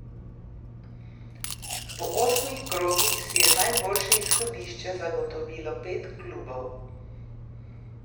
Po osmih krogih si je najboljše izhodišče zagotovilo pet klubov.